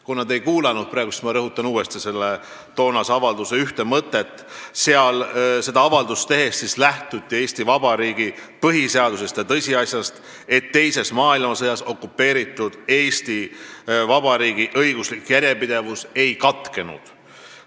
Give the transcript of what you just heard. Kuna te mind praegu ei kuulanud, siis ma rõhutan uuesti selle avalduse ühte mõtet: seda avaldust tehes lähtuti Eesti Vabariigi põhiseadusest ja tõsiasjast, et teises maailmasõjas okupeeritud Eesti Vabariigi õiguslik järjepidevus ei katkenud.